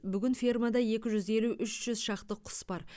бүгін фермада екі жүз елу үш жүз шақты құс бар